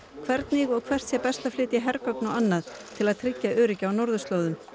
hvernig og hvert sé best að flytja hergögn og annað til að tryggja öryggi á norðurslóðum